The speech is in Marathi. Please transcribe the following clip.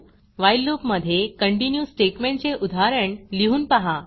व्हाईल loopवाइल लूप मधे कंटिन्यू स्टेटमेंटचे उदाहरण लिहून पहा